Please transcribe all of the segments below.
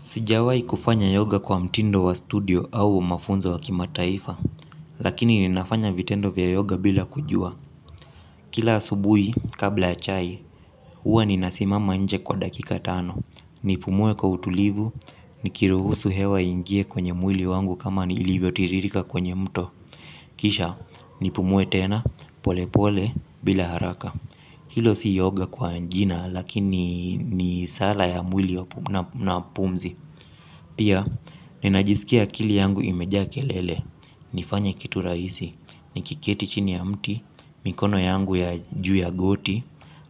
Sijawai kufanya yoga kwa mtindo wa studio au mafunzo wa kimataifa, lakini ninafanya vitendo vya yoga bila kujua. Kila asubuhi, kabla ya chai, huwa ninasimama nje kwa dakika tano. Nipumue kwa utulivu, nikiruhusu hewa iingie kwenye mwili wangu kama nilivyo tiririka kwenye mto. Kisha, nipumue tena, pole pole, bila haraka. Hilo si yoga kwa jina, lakini ni sala ya mwili na pumzi. Pia, ninajisikia akili yangu imejaa kelele, nifanya kitu rahisi, nikiketi chini ya mti, mikono yangu ya juu ya goti,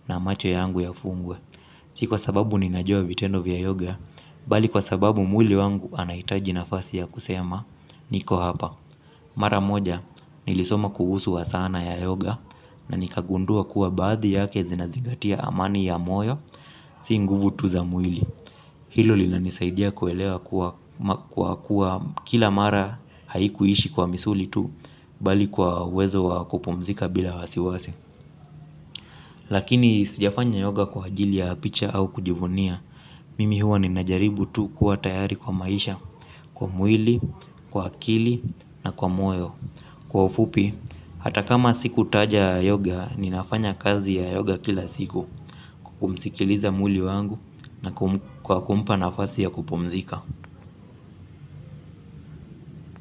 na macho yangu yafungwe. Si kwa sababu ninajua vitendo vya yoga, bali kwa sababu mwili wangu unahitaji nafasi ya kusema, niko hapa. Mara moja, nilisoma kuhusu wa sana ya yoga, na nikagundua kuwa baadhi yake zinazingatia amani ya moyo, si nguvu tu za mwili hilo linanisaidia kuelewa kuwa kwa kuwa kila mara haikuishi kwa misuli tu bali kwa uwezo wa kupumzika bila wasiwasi. Lakini sijafanya yoga kwa ajili ya picha au kujivunia mimi huwa ninajaribu tu kuwa tayari kwa maisha kwa mwili kwa akili na kwa moyo kwa ufupi hata kama sikutaja yoga ninafanya kazi ya yoga kila siku kumsikiliza mwili wangu na kwa kumpa nafasi ya kupumzika.